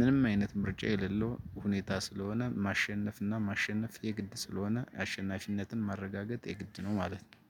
ምንም አይነት ምርጫ የሌለው ሁኔታ ስለሆነ ማሸነፍ እና ማሸነፍ የግድ ስለሆነ አሸናፊነትን ማረጋገጥ የግድ ነው ማለት ነው።